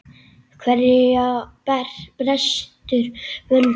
Hverja brestur völdin?